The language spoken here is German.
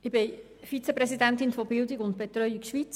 Ich bin Vizepräsidentin des Verbands Bildung und Betreuung Schweiz.